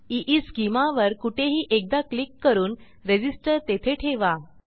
ईस्केमा वर कुठेही एकदा क्लिक करून रेझिस्टर तेथे ठेवा